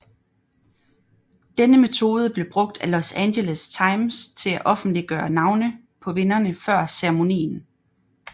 Denne metode blev brugt af Los Angeles Times til at offentliggøre navne på vinderne før ceremonien